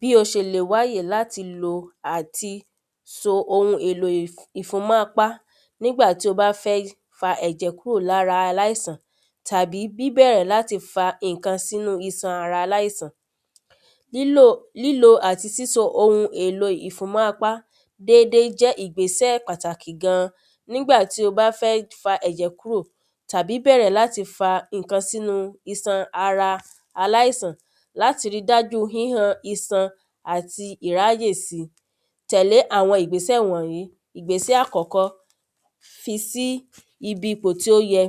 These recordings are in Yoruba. Bí o ṣe lè wáyè láti lo àti so oun èlò ìfúnmọ́apá nígbà tí o bá fẹ́ fa ẹ̀jẹ̀ kúrò ní ara aláìsàn tàbí bíbẹ̀rẹ̀ láti fa nǹkan sínú iṣan ara aláìsàn Lílò àti síso oun èlò ìfúnmọ́ apá dédé jẹ́ ìgbésẹ̀ pàtàkì gan an Nígbà tí o bá fẹ́ fa ẹ̀jẹ̀ kúrò tàbí bẹ̀rẹ̀ láti fa nǹkan sínú iṣan ara aláìsàn láti ri dájú híhan iṣan àti ìráyèsí Tẹ̀lé àwọn ìgbésẹ̀ wọ̀nyìí Ìgbésẹ̀ àkọ́kọ́ Fisí ibi ipò tí ó yẹ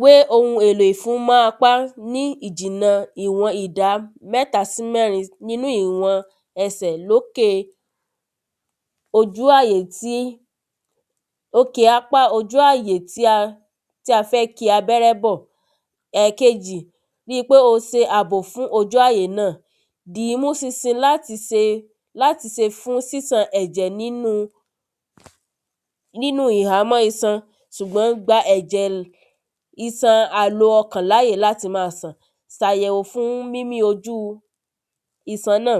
Wé oun èlò ìfúnmọ́apá ní ìjìnà iwọn ìdá mẹ́ta sí mẹ́rin nínú iwọ̀n ẹsẹ̀ lókè ojú àyè tí òkè apá ojú ayè tí a tí a fẹ́ ki abẹ́rẹ́ bọ̀ Ẹ̀ẹ̀kejì Ri pé o ṣe ab fún ojú ayè náà Dìímú ṣinṣin láti ṣe láti ṣe fún sísàn ẹ̀jẹ̀ nínú nínú ìhámọ́ iṣan ṣùgbọ́n gba ẹ̀jẹ̀ iṣan alo ọkàn láyè láti máa sàn Sàyeẁò fún mímí ojú iṣan náà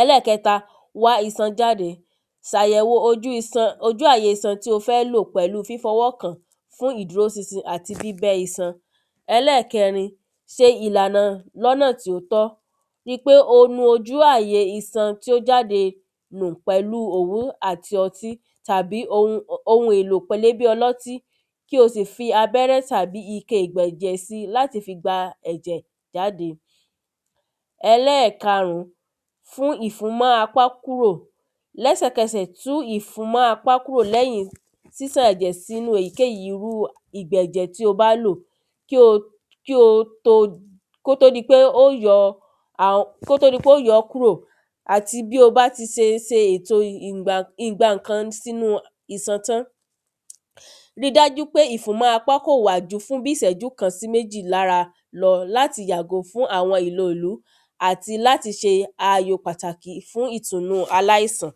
Ẹlẹ́ẹ̀kẹta Wá iṣan jáde Ṣayẹ̀wò ojú àye iṣan tí o fẹ́ lò pẹ̀lú fifi ọwọ́ kàn án fún ìdúró ṣinṣin àti bíbẹ́ iṣan Ẹlẹ́ẹ̀kẹrin ṣe ìlànà ní ọ̀nà tí ó tọ́ Ri pé o nu ojú àyè iṣan tí ó jáde nù pẹ̀lú òwù àti ọtí tàbí oun èlò pélébé ọlọ́tí kí o sì fi abẹ́rẹ́ tàbí ike ìgbẹ̀jẹ̀ si láti fi gba ẹ̀jẹ̀ jáde Ẹlẹ́ẹ̀karùn fún ìfúnmọ́apá́ kúrò Lẹ́sẹ̀kẹsẹ̀ tú ìfúnmọ́apá́ kúrò lẹ́yìn ṣíṣàn ẹ̀jẹ̀ sínú èyíkéyì irú ìgbà ẹ̀jẹ̀ tí ó bá lò kí ó kí o tó kí ó tó di pé o óò yọ ọ́ kúrò Àti bí o bá tí ṣe ṣe ètò ìgbankan sínú iṣan tán Ri dájú pé ìfúnmọ́ apá kò wà ju fi bíi ìṣẹ́jú kan sí méjì lára lọ láti yàgò fún àwọn ìlọ̀òlú àti là ṣe ayò pàtàkì fún ìtùnnú aláìsàn